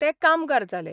ते कामगार जाले.